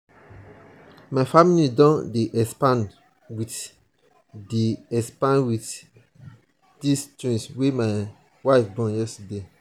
my family don dey expand wit dey expand wit dese twins wey my wife born yesterday.